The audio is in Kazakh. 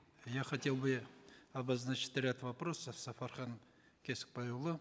я хотел бы обозначить ряд вопросов сапархану кесікбайұлы